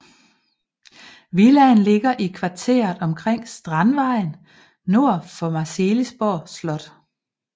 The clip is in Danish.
Villaen ligger i kvarteret omkring Strandvejen nord for Marselisborg Slot